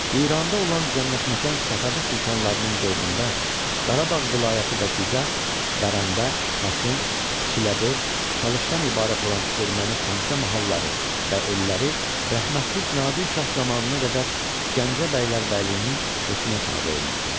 İranda olan cənnətməkan Səfəvi sultanlarının dövründə Qarabağ vilayəti və Dizaq, Bərəndə, Xaçın, Çiləbörtd, Talışdan ibarət olan erməni xəmsə mahalları və elləri rəhmətlik Nadir şah zamanına qədər Gəncə bəylərbəyliyinin hökmünə tabe olmuşdu.